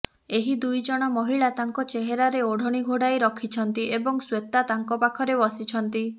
ଏହି ଦୁଇଜଣ ମହିଳା ତାଙ୍କ ଚେହେରା ରେ ଓଢଣୀ ଘୋଡାଇ ରଖିଛନ୍ତି ଏବଂ ଶ୍ବେତା ତାଙ୍କ ପାଖରେ ବସିଛନ୍ତି